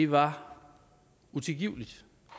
var utilgiveligt